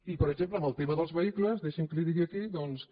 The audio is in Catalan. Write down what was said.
i per exemple en el tema dels vehicles deixi’m que li digui aquí doncs que